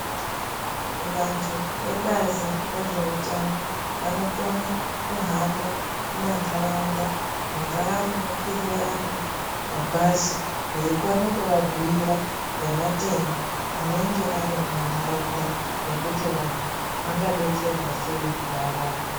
Vantu vebazi rezveutano vanokona kuhamba mumandaraunda mungaa munokwirira vantu mabhazi veikone kuvabhiira ngematenda anenge arimumandaraunda nekuti vantu vanga detserwa sei kuarapwa.